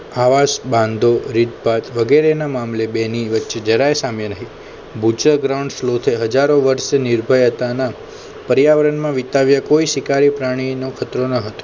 આવાસ બાંધો રીતપાત વગેરેના મામલે બેની વચ્ચે જરાય સામે રહી ભુજ્ય ground સ્લોથે હજારો વર્ષ નિર્ભય હતા ના પર્યાવરણમાં વિતાવ્ય કોઈ શિકારી પ્રાણી નો ખતરો ન હતો